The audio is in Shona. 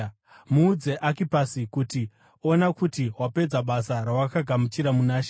Muudze Akipasi kuti, “Ona kuti wapedza basa rawakagamuchira muna She.”